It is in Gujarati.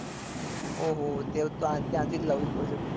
ઓહો તે હવે ત્યાં થી જ લાવવી પડે ભાઈ